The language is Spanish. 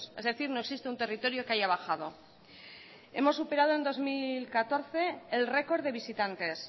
es decir no existe un territorio que haya bajado hemos superado en dos mil catorce el record de visitantes